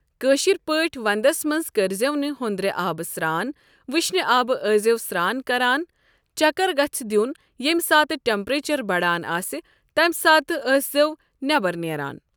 کٲشر پٲٹھۍ ونٛدس منٛز کٔرۍ زٮ۪و نہٕ ہُنٛدرِ آب سرٛان وٕشنہِ آب ٲسۍ زیو سرٛان کران چکر گژھِ دیُن ییٚمہِ ساتہٕ ٹٮ۪مپیچر بڑان آسہِ تمہِ ساتہٕ ٲسۍ زٮ۪و نٮ۪بر نیران۔